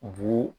Bu